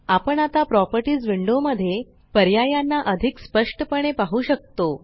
आपण आता properties window मध्ये पर्यायांना अधिक स्पष्टपणे पाहु शकतो